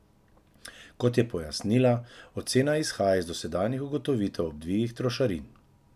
Kot je pojasnila, ocena izhaja iz dosedanjih ugotovitev ob dvigih trošarin.